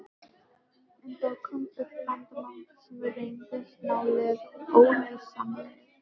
En þá kom upp vandamál sem reyndust nálega óleysanleg.